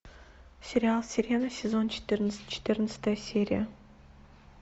сериал сирена сезон четырнадцать четырнадцатая серия